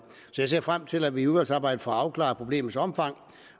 jeg ser frem til at vi i udvalgsarbejdet får afklaret problemets omfang